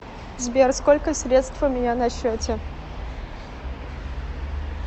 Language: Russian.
сбер сколько средств у меня на счете